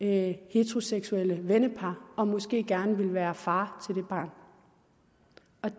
heteroseksuelle vennepar og måske gerne vil være far til det barn